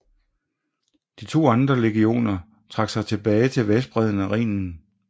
De to andre legioner trak sig tilbage til vestbredden af Rhinen